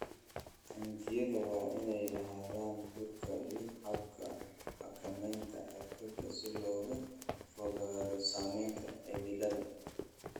Taangiyada waa inay lahaadaan huurka iyo hababka xakamaynta heerkulka si looga fogaado saameynta cimilada.